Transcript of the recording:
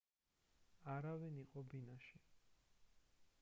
არავინ იყო ბინაში